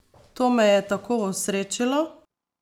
To me je tako osrečilo!